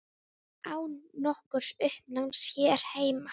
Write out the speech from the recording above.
Án nokkurs uppnáms hér heima.